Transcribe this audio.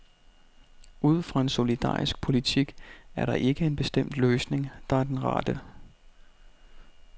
Ud fra en solidarisk politik er der ikke en bestemt løsning, der er den rette.